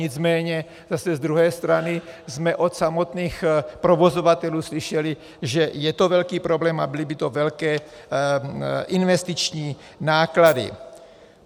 Nicméně zase z druhé strany jsme od samotných provozovatelů slyšeli, že je to velký problém a byly by to velké investiční náklady.